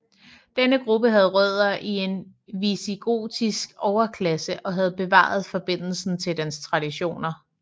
Denne gruppe havde rødder i den visigotiske overklasse og havde bevaret forbindelsen til dens traditioner